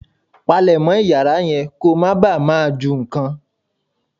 Palemọ́ Ìyàrá yẹn kó má bàa máa ju nǹkan.